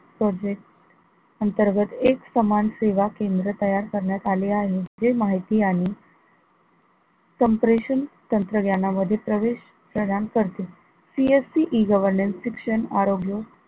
project अंतर्गत एक सामान सेवा केंद्र तयार करण्यात आले आहे, जे माहिती संप्रेषण तंत्रज्ञानामध्ये प्रवेश प्रदान करते CSCE governance शिक्षण, आरोग्य